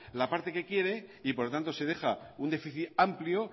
la parte que quiere y por tanto se deja un déficit amplio